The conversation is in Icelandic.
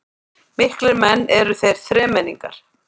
Miklir menn eru þeir þremenningar